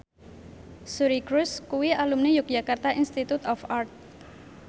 Suri Cruise kuwi alumni Yogyakarta Institute of Art